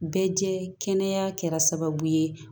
Bɛɛ jɛ kɛnɛya kɛra sababu ye